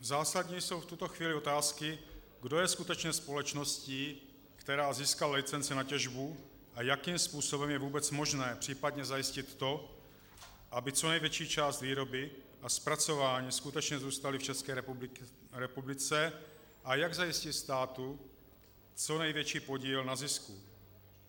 Zásadní jsou v tuto chvíli otázky, kdo je skutečně společností, která získala licenci na těžbu, a jakým způsobem je vůbec možné případně zajistit to, aby co největší část výroby a zpracování skutečně zůstaly v České republice, a jak zajistit státu co největší podíl na zisku.